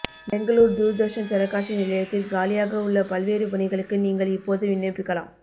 பெங்களூர் தூர்தர்ஷன் தொலைக்காட்சி நிலையத்தில் காலியாக உள்ள பல்வேறு பணிகளுக்கு நீங்கள் இப்போது விண்ணப்பிக்கலாம்